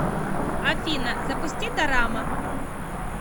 афина запусти дорама